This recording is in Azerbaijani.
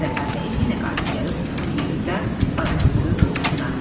Zəhra bəyim yenə qayıdıb gəlir oturur yerində, bayazı qoyur qoltuğuna.